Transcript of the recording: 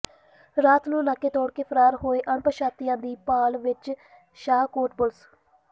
ਰਾਤ ਨੂੰ ਨਾਕੇ ਤੋੜ ਫਰਾਰ ਹੋਏ ਅਣਪਛਾਤਿਆਂ ਦੀ ਭਾਲ ਵਿੱਚ ਸ਼ਾਹਕੋਟ ਪੁਲਿਸ